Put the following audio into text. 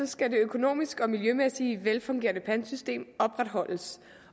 skal det økonomisk og miljømæssigt velfungerende pantsystem opretholdes